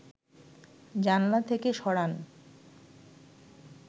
জানলা থেকে সরান